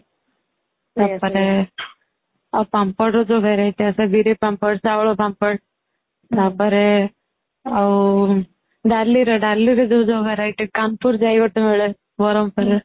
ତାପରେ ପାମ୍ପଡ ର ଯୋଉ verity ଆସେ ବିରି ପାମ୍ପଡ଼, ଚାଉଳ ପାମ୍ପଡ଼ ତାପରେ ଆଉ ଡାଲି ର ,ଡାଲି ର ଯୋଉ ଯୋଉ verity ପାମ୍ପଡ଼ ଯାଇ ଗୋଟେ ମିଳେ ବରମପୁରରେ